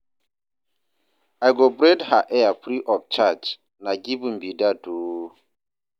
I go braid her hair free of charge, na giving be dat o.